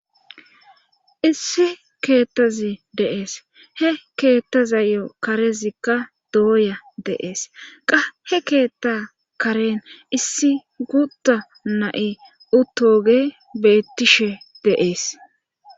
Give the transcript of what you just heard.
Issi keettazi de7ees he keettazayo karezikka dooya de7ees qa he keetta karen issi guutta na7i utooge beettishe de7ees.